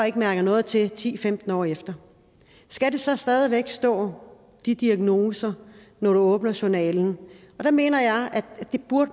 ikke mærker noget til ti til femten år efter skal der så stadig væk stå de diagnoser når du åbner journalen der mener jeg at